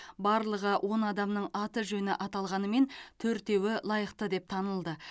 барлығы он адамның аты жөні аталғанымен төртеуі лайықты деп танылды